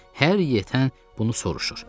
Hər yetən bunu soruşur.